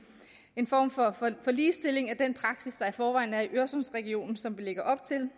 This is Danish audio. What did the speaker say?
en form for ligestilling af den praksis der i forvejen er i øresundsregionen som vi lægger op til